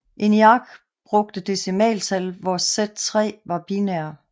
ENIAC brugte decimaltal hvor Z3 var binær